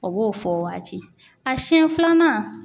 O b'o fɔ o waati a siɲɛ filanan.